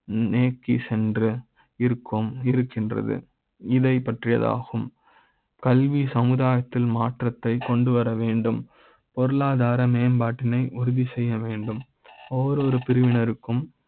நோக்கி சென்று இருக்கும் இருக்கின்றது இதை பற்றியதாகும் கல்வி சமுதாய த்தில் மாற்ற த்தை கொண்டுவர வேண்டும் பொருளாதார மேம்பாட்டினை உறுதி செய்ய வேண்டும் ஒவ்வொரு பிரிவினருக்கு ம்